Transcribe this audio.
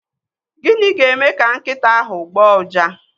Gịnị ga-eme ka nkịta ahụ agbọọ uja?